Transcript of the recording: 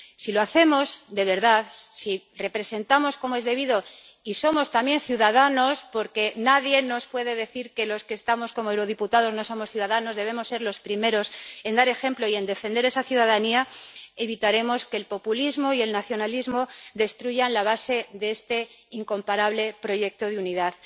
Si lo hacemos de verdad, si representamos como es debido y somos también ciudadanos —porque nadie nos puede decir que los que estamos como eurodiputados no somos ciudadanos, debemos ser los primeros en dar ejemplo y en defender esa ciudadanía—, evitaremos que el populismo y el nacionalismo destruyan la base de este incomparable proyecto de unidad.